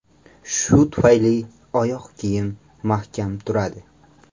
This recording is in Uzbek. Shu tufayli oyoq kiyim mahkam turadi.